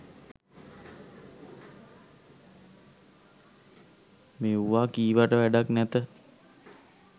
මෙව්වා කීවට වැඩක් නැත.